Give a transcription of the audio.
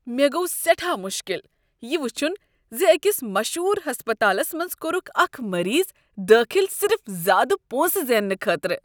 مےٚ گوٚو سیٹھاہ مشکل یہ وٕچھُن ز أکس مشہور ہسپتالس منز کوٚرکھ اکھ مریض داخل صرف زیادٕ پونسہٕ زیننہٕ خٲطرٕ۔